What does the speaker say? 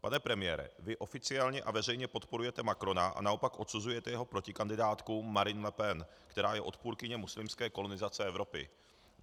Pane premiére, vy oficiálně a veřejně podporujete Macrona a naopak odsuzujete jeho protikandidátku Marine Le Pen, která je odpůrkyní muslimské kolonizace Evropy.